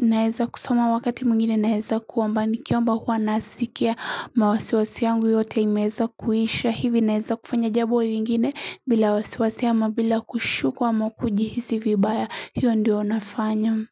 naeza kusoma wakati mwingine naeza kuomba nikiomba huwa nasikia mawasiwasi yangu yote imeweza kuisha hivi naeza kufanya jambo lingine bila wasiwasi ama bila kushukwa ama kujihisi vibaya hiyo ndio nafanya.